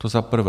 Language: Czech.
To za prvé.